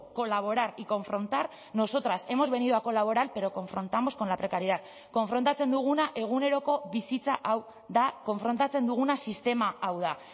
colaborar y confrontar nosotras hemos venido a colaborar pero confrontamos con la precariedad konfrontatzen duguna eguneroko bizitza hau da konfrontatzen duguna sistema hau da